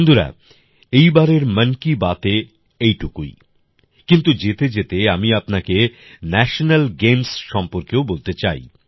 বন্ধুরা এইবারের মন কি বাতএ এইটুকুই কিন্তু যেতেযেতে আমি আপনাকে ন্যাশনাল গেমস সম্পর্কেও বলতে চাই